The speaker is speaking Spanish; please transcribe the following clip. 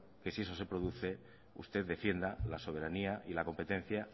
que si eso se produce usted defienda la soberanía y la competencia